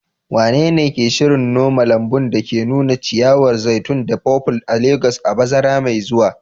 Wanene ke shirin noma lambun da ke nuna ciyawar zaitun da purple a Legas a bazara mai zuwa?